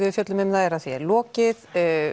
við fjöllum um það er að því er lokið